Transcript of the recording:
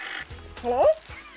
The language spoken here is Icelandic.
halló